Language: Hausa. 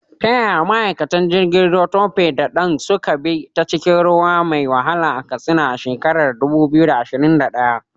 Ta yaya ma’aikatan jirgin ruwa Tope da Dan suka bi ta cikin ruwa mai wahala a Katsina a shekarar 2021?